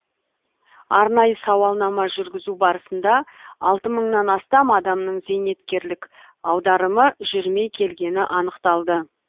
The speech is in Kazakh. арнайы сауалнама жүргізу барысында мыңнан астам адамның зейнеткерлік аударымы жүрмей келгені анықталды